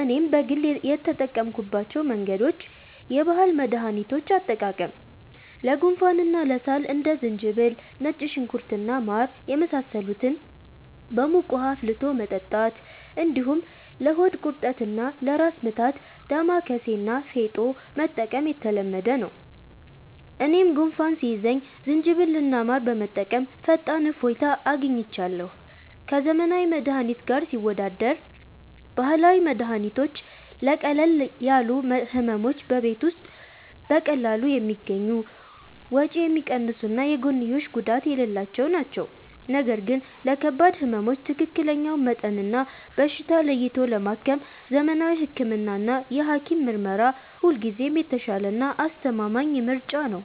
እኔም በግል የተጠቀምኩባቸው መንገዶች፦ የባህል መድኃኒቶች አጠቃቀም፦ ለጉንፋንና ለሳል እንደ ዝንጅብል፣ ነጭ ሽንኩርት እና ማር የመሳሰሉትን በሙቅ ውኃ አፍልቶ መጠጣት፣ እንዲሁም ለሆድ ቁርጠትና ለራስ ምታት «ዳማከሴ» እና «ፌጦ» መጠቀም የተለመደ ነው። እኔም ጉንፋን ሲይዘኝ ዝንጅብልና ማር በመጠቀም ፈጣን እፎይታ አግኝቻለሁ። ከዘመናዊ መድኃኒት ጋር ሲወዳደር፦ ባህላዊ መድኃኒቶች ለቀለል ያሉ ሕመሞች በቤት ውስጥ በቀላሉ የሚገኙ፣ ወጪ የሚቀንሱና የጎንዮሽ ጉዳት የሌላቸው ናቸው። ነገር ግን ለከባድ ሕመሞች ትክክለኛውን መጠንና በሽታ ለይቶ ለማከም ዘመናዊ ሕክምናና የሐኪም ምርመራ ሁልጊዜም የተሻለና አስተማማኝ ምርጫ ነው።